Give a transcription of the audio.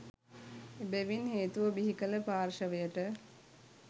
එබැවින් හේතුව බිහිකල පාර්ෂවයට